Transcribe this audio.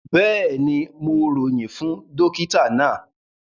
Bẹ́ẹ̀ni, Mo royin fún dòkìtà na.